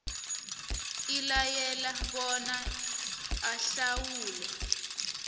ilayele bona ahlawule